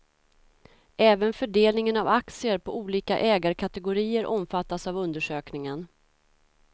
Även fördelningen av aktier på olika ägarkategorier omfattas av undersökningen.